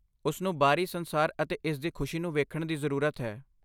ਉਸਨੂੰ ਬਾਹਰੀ ਸੰਸਾਰ ਅਤੇ ਇਸ ਦੀ ਖੁਸ਼ੀ ਨੂੰ ਵੇਖਣ ਦੀ ਜ਼ਰੂਰਤ ਹੈ।